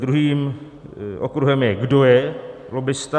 Druhým okruhem je, kdo je lobbista.